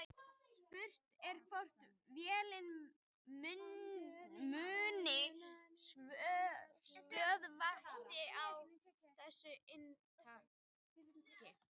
Spurt er hvort vélin muni stöðvast á þessu inntaki.